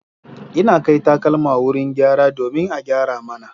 Ina kai takalma wurin gyara domin a gyara mana.